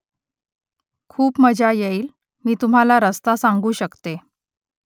खूप मजा येईल . मी तुम्हाला रस्ता सांगू शकते